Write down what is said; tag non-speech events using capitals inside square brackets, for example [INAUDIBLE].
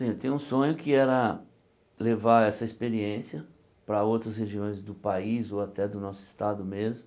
[UNINTELLIGIBLE] tenho um sonho que era levar essa experiência para outras regiões do país ou até do nosso estado mesmo.